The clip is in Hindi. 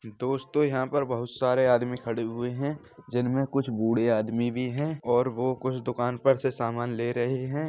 दोस्तों यहां पर बहोत सारे आदमी खड़े हुए है जिनमें कुछ बूढ़े आदमी भी है और वो कुछ दुकान पर से समान ले रहे है।